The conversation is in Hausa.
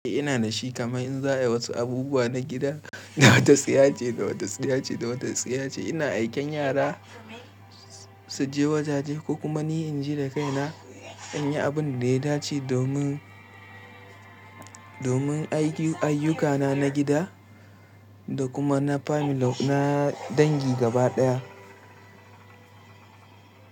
Eh ina da shi, kamar in za a yi wasu abubuwa na gida, da wata tsiyaci, da wata tsiyaci, da wata tsiyaci. Ina aiken yara su je wajaje ko kuma ni in je da kaina in yi abin da ya dace domin, domin aiki ayyukana na gida da kuma na famili na dangi gaba ɗaya.